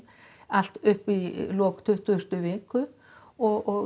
allt upp í lok tuttugustu viku og